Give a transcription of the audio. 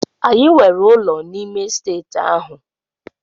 Anyị nwere ụlọ n'ime Estate ahụ.